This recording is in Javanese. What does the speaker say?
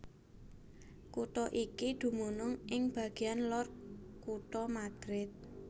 Kutha iki dumunung ing bagéan lor kutha Madrid